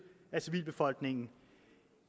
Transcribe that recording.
af civilbefolkningen